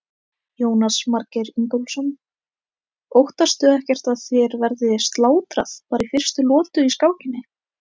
Jónas Margeir Ingólfsson: Óttastu ekkert að þér verði slátrað bara í fyrstu lotu í skákinni?